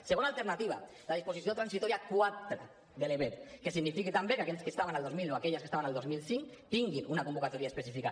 segona alternativa la disposició transitòria quatre de l’ebep que signifiqui també que aquells que estaven el dos mil o aquelles que estaven el dos mil cinc tinguin una convocatòria específica